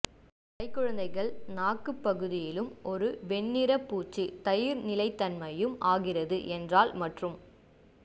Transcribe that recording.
கைக்குழந்தைகள் நாக்கு பகுதியிலும் ஒரு வெண்ணிறப் பூச்சு தயிர் நிலைத்தன்மையும் ஆகிறது என்றால் மற்றும்